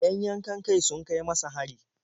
Yan yankan-kai sun kai masa hari.